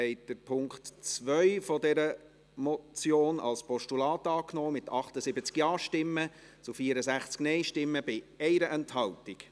Sie haben den Punkt 2 als Postulat angenommen, mit 78 Ja- gegen 64 Nein-Stimmen bei 1 Enthaltung.